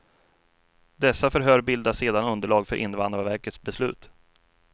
Dessa förhör bildar sedan underlag för invandrarverkets beslut.